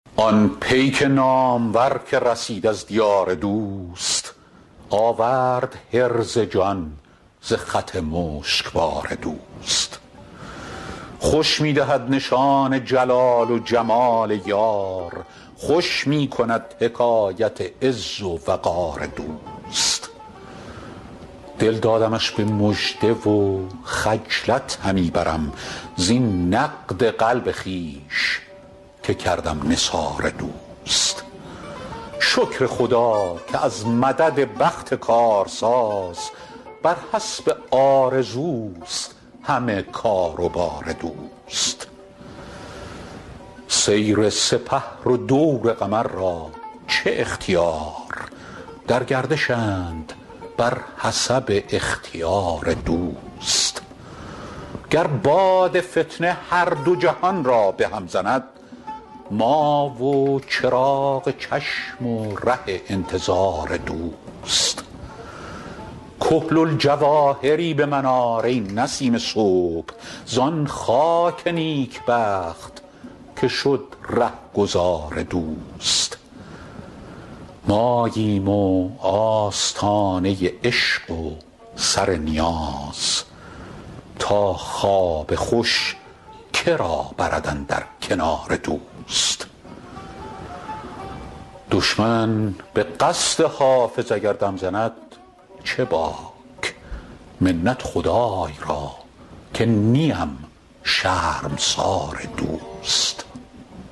آن پیک نامور که رسید از دیار دوست آورد حرز جان ز خط مشکبار دوست خوش می دهد نشان جلال و جمال یار خوش می کند حکایت عز و وقار دوست دل دادمش به مژده و خجلت همی برم زین نقد قلب خویش که کردم نثار دوست شکر خدا که از مدد بخت کارساز بر حسب آرزوست همه کار و بار دوست سیر سپهر و دور قمر را چه اختیار در گردشند بر حسب اختیار دوست گر باد فتنه هر دو جهان را به هم زند ما و چراغ چشم و ره انتظار دوست کحل الجواهری به من آر ای نسیم صبح زان خاک نیکبخت که شد رهگذار دوست ماییم و آستانه عشق و سر نیاز تا خواب خوش که را برد اندر کنار دوست دشمن به قصد حافظ اگر دم زند چه باک منت خدای را که نیم شرمسار دوست